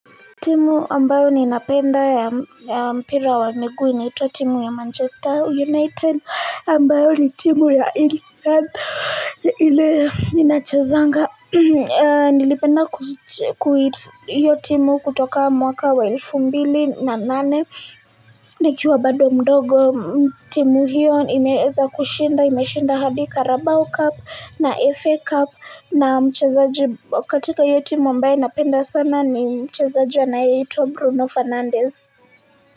Timu ambayo ninapenda ya mpira wa miguu inaitwa timu ya Manchester United, ambayo ni timu ya England, ile inachezanga. Nilipenda kuhusu hiyo timu kutoka mwaka wa elfu mbili na nane, nikiwa bado mdogo, timu hiyo imeeza kushinda, imeshinda hadi karabao Cup na FA Cup, na mchezaji katika hio timu ambaye napenda sana ni mchezaji anayeitwa Bruno Fernandez.